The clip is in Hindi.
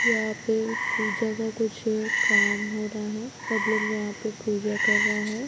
यहाँ पे पूजा का कुछ काम हो रहा हैं। सब लोग यहाँ पे पूजा कर रहे हैं।